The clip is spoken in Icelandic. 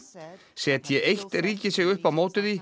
setji eitt ríki sig upp á móti því